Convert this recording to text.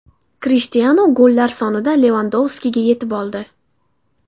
Krishtianu gollar sonida Levandovskiga yetib oldi.